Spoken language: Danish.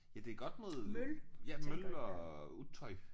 Ja det er godt mod ja møl og utøj